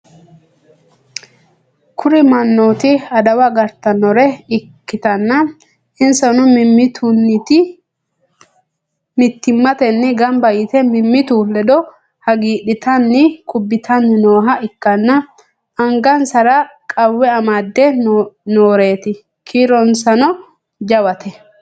kuri mannooti adawa agartannore ikkanna, insano mittimmatenniti gamba yite mimmitu ledo hagiidhitanni kubbitanni nooha ikkanna, angasara qawwe amadde nooreeti. kiironsano jawate.